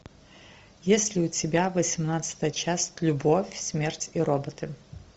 есть ли у тебя восемнадцатая часть любовь смерть и роботы